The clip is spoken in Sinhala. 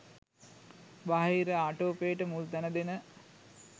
බාහිර ආටෝපයට මුල් තැන දෙන